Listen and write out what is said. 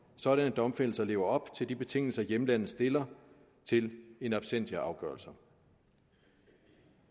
sådanne domfældelser lever op til de betingelser hjemlandet stiller til in absentia afgørelser